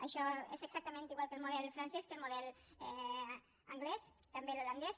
això és exactament igual que el model francès que el model anglès i també l’holandès